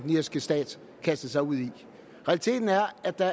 irske stat kastede sig ud i realiteten er at der